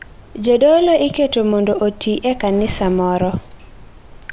Jodolo iketo mondo oti e kanisa moro.